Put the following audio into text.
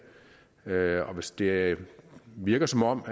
og hvis det virker som om